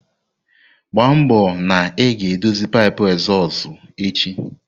Gba mbo na ị ga-edozi pipu ezozu echi!